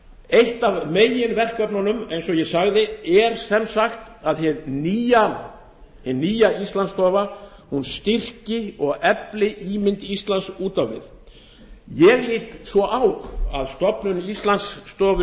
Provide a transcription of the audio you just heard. eitt af meginverkefnunum eins og ég sagði er sem sagt að hin nýja íslandsstofa styrki og efli ímynd íslands út á við ég lít svo á að stofnun íslandsstofu